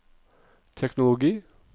teknologi